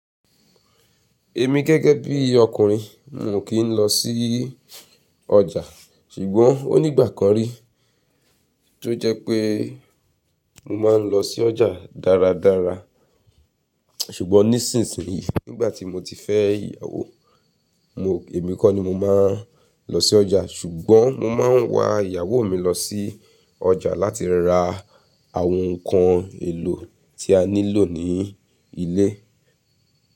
Èmi gẹ́gẹ́ bí ọkùnrin, mio kí ń lọ sí ọjà, ṣùgbọ́n ó nígbà kan rí tó jẹ́ pé mo máa ń lọ sí ọjà dáradára. Ṣùgbọ́n nísinsìnyí nígbà tí mo ti fẹ́ ìyàwó, mo, èmi kọ́ ni mo máa ń lọ sí ọjà, ṣùgbọ́n mo máa ń wa ìyàwó mi lọ sí ọjà láti ra àwọn nǹkan èlò tí a ní lò ní ilé.